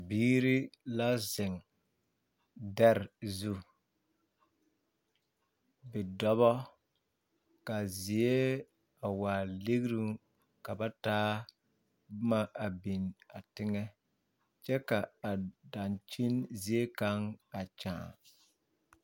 Biiri la zeŋ dԑre zu. Bidͻbͻ kaa a zie a waa ligiruŋ ka bat aa boma a biŋ a teŋԑ kyԑ ka a daŋkyin ziekaŋ a kyaane.